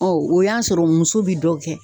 Ɔ o y'a sɔrɔ muso bi dɔ kɛ